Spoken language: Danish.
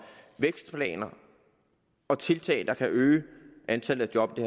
vækstplaner og tiltag der kan øge antallet af job i